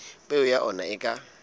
peo ya ona e ka